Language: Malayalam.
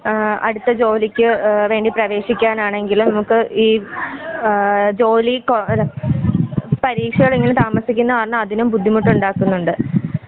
ആ അടുത്ത ജോലിക്ക് ആ വേണ്ടി പ്രേവേശിക്കാനെണെങ്കിലും നമുക്ക് ഈ ആ ജോലി കൊ പരീക്ഷകള് ഇങ്ങനെ താമസിക്കുന്ന കാരണം അതിനും ബുദ്ധിമുട്ടുണ്ടാക്കുന്നുണ്ട്.